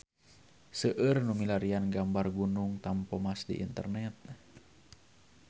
Seueur nu milarian gambar Gunung Tampomas di internet